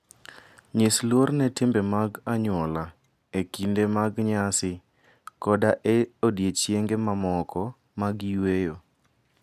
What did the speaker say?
Nyis luor ne timbe mag anyuola e kinde mag nyasi koda e odiechienge mamoko mag yueyo.